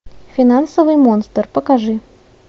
финансовый монстр покажи